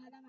तर